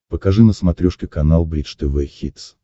покажи на смотрешке канал бридж тв хитс